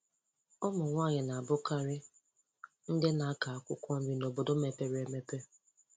Ụmụnwanyị na-abukarị ndị na-akọ akwụkwọ nri n' obodo mepere emepe